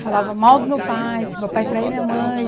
Falava mal do meu pai, que meu pai traiu minha mãe.